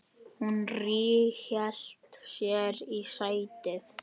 Hún ríghélt sér í sætið.